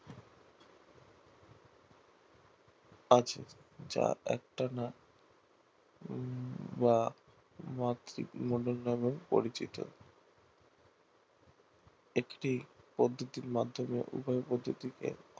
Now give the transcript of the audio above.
আছে যা একটানা বা মাতৃমণ্ডল নাম এ পরিচিত একটি পদ্ধতির মাধ্যমে উভয় পদ্ধতিকে